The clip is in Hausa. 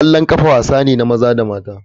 Kwallon kafa wasa ne na maza da mata.